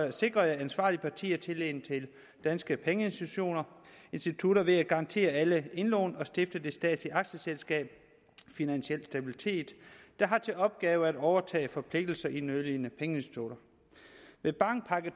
i sikrede ansvarlige partier tilliden til danske pengeinstitutter ved at garantere alle indlån og ved at stifte det statslige aktieselskab finansiel stabilitet der har til opgave at overtage forpligtelser i nødlidende pengeinstitutter med bankpakke